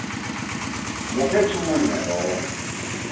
ngu petunia loyo